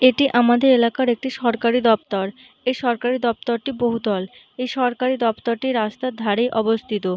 এটি আমাদের এলাকার একটি সরকারি দপ্ততর। এই সরকারি দপ্তরটি বহুতল। এই সরকারি দপ্তরটি রাস্তার ধারে অবস্থিত।